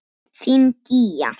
Þín, Gígja.